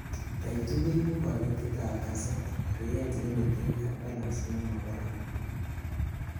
Type 2 koibu kobetet ab kaset, riret en itik ak balance nemokaran